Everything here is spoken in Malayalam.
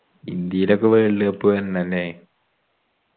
ഇന്ത്യയിലൊക്കെ world cup വര്ണല്ലേ